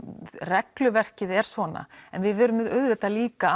regluverkið er svona en við verðum auðvitað líka